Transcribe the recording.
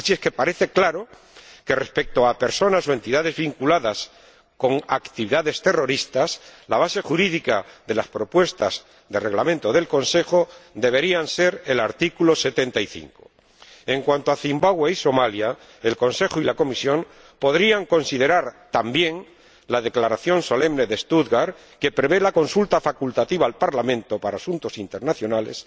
Así que parece claro que, respecto a personas o entidades vinculadas con actividades terroristas, la base jurídica de las propuestas de reglamento del Consejo debería ser el artículo 75. En cuanto a Zimbabue y Somalia, el Consejo y la Comisión podrían considerar también la Declaración solemne de Stuttgart, que prevé la consulta facultativa al Parlamento para asuntos internacionales,